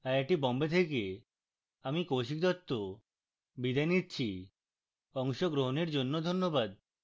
I I T Bombay থেকে আমি কৌশিক দত্ত বিদায় নিচ্ছি অংশগ্রহনের জন্য ধন্যবাদ